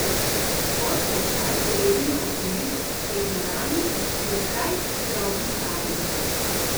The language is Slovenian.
Od očal z debelimi okvirji prek naramnic do srajc z drobnim karom.